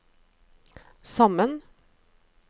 sammen